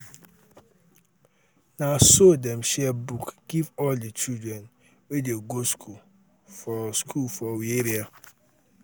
na so dem share book give all di children wey dey go skool for skool for we area.